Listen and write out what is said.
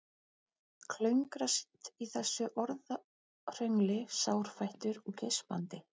Klöngrast í þessu orðahröngli sárfættur og geispandi.